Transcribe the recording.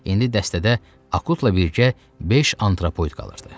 İndi dəstədə Akutla birgə beş antropoid qalırdı.